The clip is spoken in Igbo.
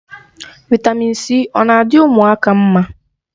Vị́tamị́n c ọ na adị ụmụaka mma?